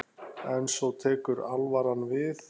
En svo tekur alvaran við.